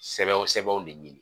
Sɛbɛn o sɛbɛnw de ɲini